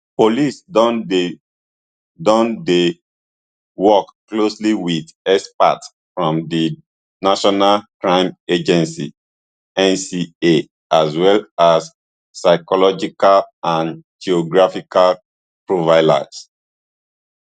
police don dey don dey work closely wit experts from di national crime agency nca as well as psychological and geographical profilers